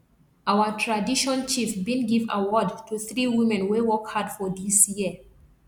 our tradition chief bin give award to three women wey work hard for dis year